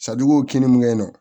kini min kɛ yen nɔ